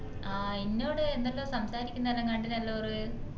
ആ ഇന്നൊട് എന്തെല്ലോ സംസാരിക്കുന്നെല്ലാം കണ്ടിനെല്ലാ ഒറു